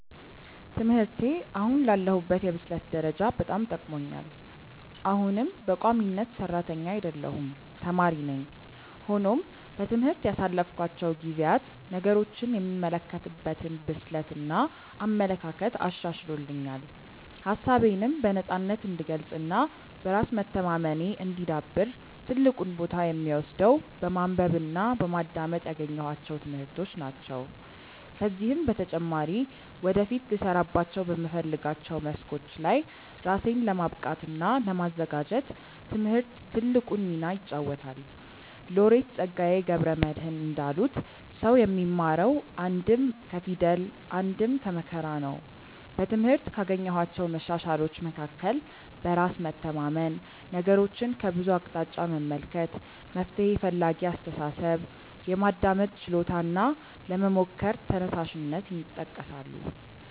ትምህርቴ አሁን ላለሁበት የብስለት ደረጃ በጣም ጠቅሞኛል። አሁንም በቋሚነት ሰራተኛ አይደለሁም ተማሪ ነኝ። ሆኖም በትምህርት ያሳለፍኳቸው ጊዜያት ነገሮችን የምመለከትበትን ብስለት እና አመለካከት አሻሽሎልኛል። ሀሳቤነም በነፃነት እንድገልፅ እና በራስ መተማመኔ እንዲዳብር ትልቁን ቦታ የሚወስደው በማንበብ እና በማዳመጥ ያገኘኋቸው ትምህርቶች ናቸው። ከዚህም በተጨማሪ ወደፊት ልሰራባቸው በምፈልጋቸው መስኮች ላይ ራሴን ለማብቃት እና ለማዘጋጀት ትምህርት ትልቁን ሚና ይጫወታል። ሎሬት ፀጋዬ ገብረ መድህን እንዳሉት "ሰው የሚማረው አንድም ከፊደል አንድም ከመከራ ነው"።በትምህርት ካገኘኋቸው መሻሻሎች መካከል በራስ መተማመን፣ ነገሮችን ከብዙ አቅጣጫ መመልከት፣ መፍትሔ ፈላጊ አስተሳሰብ፣ የማዳመጥ ችሎታ እና ለመሞከር ተነሳሽነት ይጠቀሳሉ።